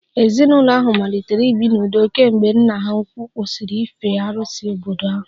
Ezinụlọ ahụ malitere ibi n'udo kemgbe nna ha ukwuu kwụsịrị ife arusi obodo ahụ